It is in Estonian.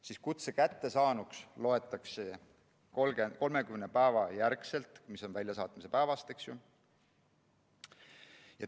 Kutse loetakse kättesaaduks 30 päeva järel, väljasaatmise päevast.